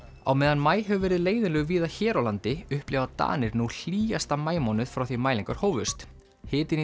á meðan maí hefur verið leiðinlegur víða hér á landi upplifa Danir nú hlýjasta maímánuð frá því mælingar hófust hitinn í